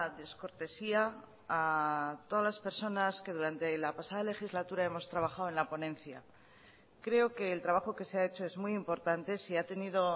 descortesía a todas las personas que durante la pasada legislatura hemos trabajado en la ponencia creo que el trabajo que se ha hecho es muy importante si ha tenido